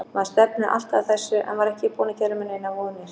Maður stefnir alltaf að þessu en var ekki búinn að gera mér neinar vonir.